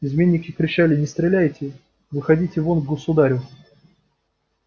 изменники кричали не стреляйте выходите вон к государю